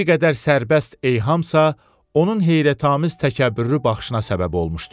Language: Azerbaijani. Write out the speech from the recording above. Bir qədər sərbəst eyhamsasa, onun heyrətamiz təkəbbürlü baxışına səbəb olmuşdu.